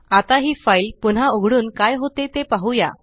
आता हि फाइल पुन्हा उघडून काय होते ते पाहुया